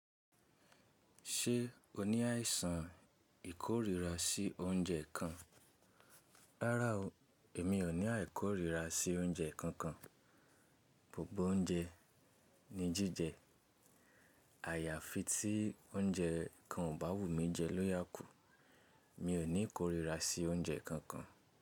Ṣé o ní àìsàn ìkórìíra sí oúnjẹ kan? Rárá o, èmi ò ní àìkóríra sí oúnjẹ kankan. Gbogbo oúnjẹ ni jíjẹ. Àyàfi tí oúnjẹ kan ò bá wù mí jẹ ló yà kù. Mi ò ní ìkórìíra sí oúnjẹ kankan.